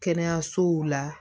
Kɛnɛyasow la